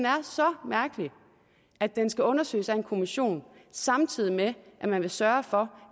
så mærkelig at den skal undersøges af en kommission samtidig med at man vil sørge for